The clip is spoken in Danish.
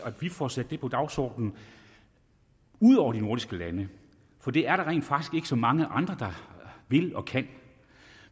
at vi får sat det på dagsordenen ud over de nordiske lande for det er der rent faktisk ikke så mange andre der vil og kan